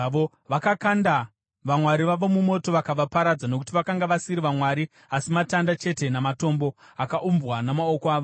Vakakanda vamwari vavo mumoto vakavaparadza, nokuti vakanga vasiri vamwari asi matanda chete namatombo, akaumbwa namaoko avanhu.